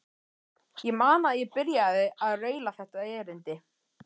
Ég man að ég byrjaði á að raula þetta erindi